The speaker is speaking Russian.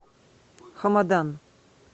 хамадан